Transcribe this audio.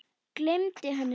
Gleymdi henni svo.